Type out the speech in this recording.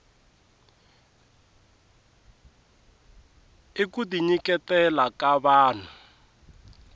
i kuti nyiketela ka vahnu